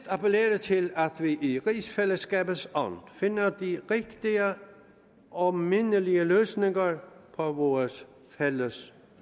appellere til at vi i rigsfællesskabets ånd finder de rigtige og mindelige løsninger på vores fælles